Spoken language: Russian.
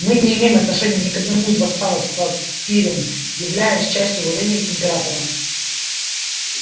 мы не имеем отношения ни к одному из вассалов сказал пиренн являясь частью владений императора